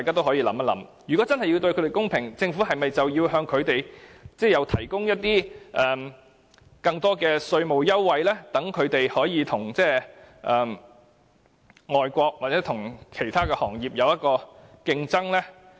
所以，如果真想對它們公平，政府是否應向它們提供更多稅務優惠，使它們與外國或其他行業有競爭呢？